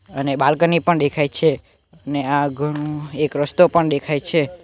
અને બાલ્કની પણ દેખાઈ છે અને આ ઘણુ એક રસ્તો પણ દેખાઈ છે.